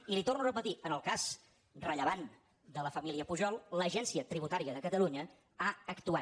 i li ho torno a repetir en el cas rellevant de la família pujol l’agència tributària de catalunya ha actuat